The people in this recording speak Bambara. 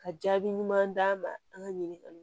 Ka jaabi ɲuman d'an ma an ka ɲininkali